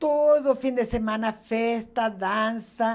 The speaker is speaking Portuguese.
Todo fim de semana, festa, dança.